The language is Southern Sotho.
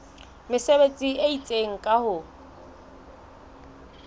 mesebetsi e itseng ka ho